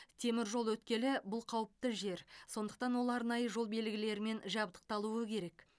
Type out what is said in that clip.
теміржол өткелі бұл қауіпті жер сондықтан ол арнайы жол белгілерімен жабдықталуы керек